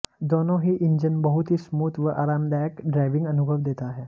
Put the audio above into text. दोनों ही इंजन बहुत ही स्मूथ व आरामदायक ड्राइविंग अनुभव देता है